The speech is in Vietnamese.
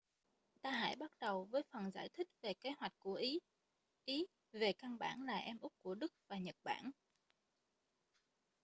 ta hãy bắt đầu với phần giải thích về kế hoạch của ý ý về căn bản là em út của đức và nhật bản